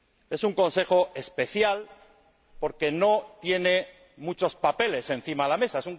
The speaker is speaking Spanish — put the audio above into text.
Es un Consejo especial porque no tiene muchos papeles encima de la mesa.